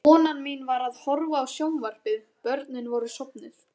Konan mín var að horfa á sjónvarpið, börnin voru sofnuð.